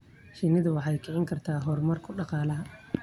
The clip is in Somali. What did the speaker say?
Shinnidu waxay kicin kartaa horumarka dhaqaalaha.